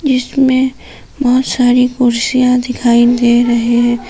इसमें बहुत सारी कुर्सियां दिखाई दे रहे है।